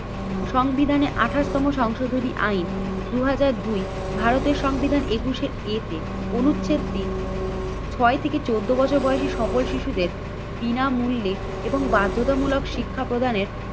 সংবিধানে আঠাশ তম সংশোধনী আইন দুই হাজার দুই ভারতের সংবিধান একুশে এ তে অনুচ্ছেদটি ছয় থেকে চোদ্দ বছর বয়সে সকল শিশুদের বিনামূল্যে এবং বাধ্যতামূলক শিক্ষা প্রদানের